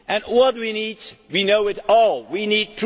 resist. What do we need? We know